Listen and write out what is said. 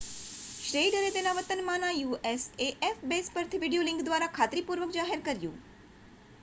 શ્નેઇડરે તેના વતનમાંના usaf base પરથી વીડિયો લિંક દ્વારા ખાતરીપૂર્વક જાહેર કર્યું